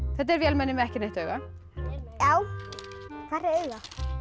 þetta er vélmenni með ekki neitt auga hvar er augað